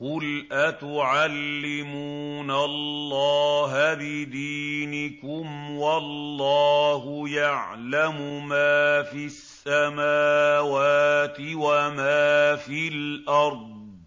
قُلْ أَتُعَلِّمُونَ اللَّهَ بِدِينِكُمْ وَاللَّهُ يَعْلَمُ مَا فِي السَّمَاوَاتِ وَمَا فِي الْأَرْضِ ۚ